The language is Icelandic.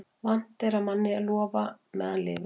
Vant er manni að lofa meðan lifir.